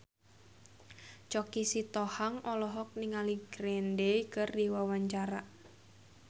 Choky Sitohang olohok ningali Green Day keur diwawancara